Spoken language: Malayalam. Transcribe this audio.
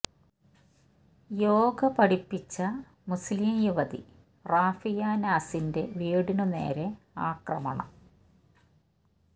യോഗ പഠിപ്പിച്ച മുസ്ലിം യുവതി റാഫിയ നാസിന്റെ വീടിനു നേരെ ആക്രമണം